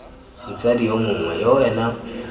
motsadi yo mongwe yo ena